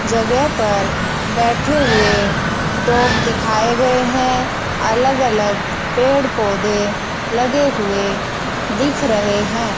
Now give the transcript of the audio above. जगह पर बैठे हुए डॉग दिखाए गए है अलग अलग पेड़ पौधे लगे हुए दिख रहे है।